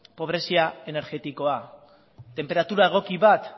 pobrezia energetikoak tenperatura egoki bat